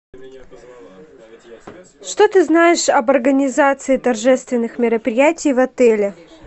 что ты знаешь об организации торжественных мероприятий в отеле